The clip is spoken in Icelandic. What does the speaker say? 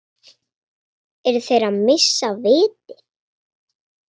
Eru þeir að missa vitið?